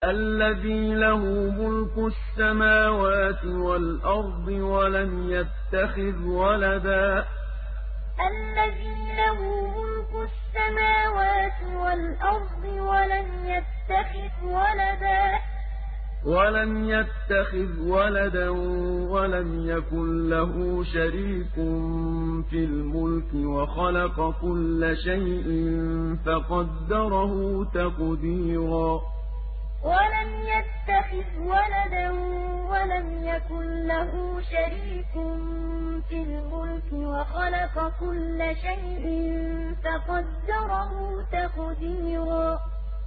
الَّذِي لَهُ مُلْكُ السَّمَاوَاتِ وَالْأَرْضِ وَلَمْ يَتَّخِذْ وَلَدًا وَلَمْ يَكُن لَّهُ شَرِيكٌ فِي الْمُلْكِ وَخَلَقَ كُلَّ شَيْءٍ فَقَدَّرَهُ تَقْدِيرًا الَّذِي لَهُ مُلْكُ السَّمَاوَاتِ وَالْأَرْضِ وَلَمْ يَتَّخِذْ وَلَدًا وَلَمْ يَكُن لَّهُ شَرِيكٌ فِي الْمُلْكِ وَخَلَقَ كُلَّ شَيْءٍ فَقَدَّرَهُ تَقْدِيرًا